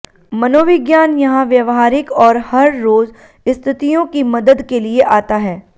मनोविज्ञान यहाँ व्यावहारिक और हर रोज स्थितियों की मदद के लिए आता है